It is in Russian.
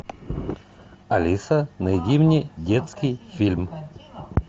алиса найди мне детский фильм